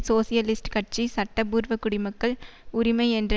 socialist கட்சி சட்டபூர்வ குடிமக்கள் உரிமை என்ற